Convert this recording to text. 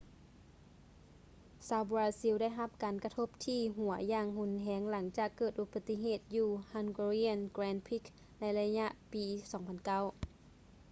ຊາວບຣາຊິລ ໄດ້ຮັບການກະທົບທີ່ຫົວຢ່າງຮຸນແຮງຫຼັງຈາກເກີດອຸບັດຕິເຫດຢູ່ hungarian grand prix ໃນໄລຍະປີ 2009